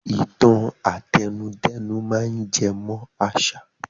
Ìtan àtẹnudẹ́nu máa ń jẹ mọ́ àṣà